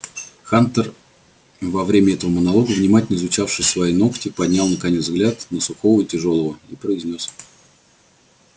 хантер во время этого монолога внимательно изучавший свои ногти поднял наконец взгляд на сухого и тяжёлого и произнёс